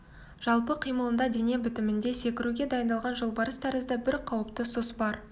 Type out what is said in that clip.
жалпы қимылында дене бітімінде секіруге дайындалған жолбарыс тәрізді бір қауіпті сұс бар